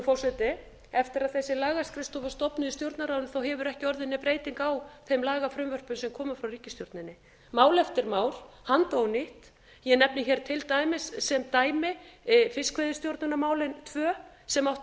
forseti eftir að þessi lagaskrifstofa var stofnuð í stjórnarráðinu hefur ekki orðið nein breyting á þeim lagafrumvörpum sem koma frá ríkisstjórninni mál eftir mál handónýtt ég nefni hér til dæmis sem dæmi fiskveiðistjórnarmálin tvö sem áttu